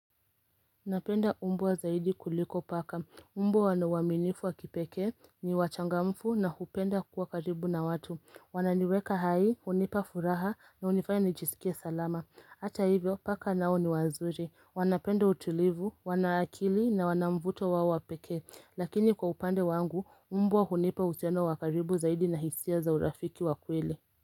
Napenda umbwa zaidi kuliko paka, umbwa wana uaminifu wa kipekee, ni wachangamfu na hupenda kuwa karibu na watu. Wananiweka hai, hunipa furaha na hunifanya nijisikie salama. Hata hivyo paka nao ni wazuri, wanapenda utulivu, wana akili na wana mvuto wao wa pekee, lakini kwa upande wangu, mbwa hunipa uhusiano wa karibu zaidi na hisia za urafiki wa kweli.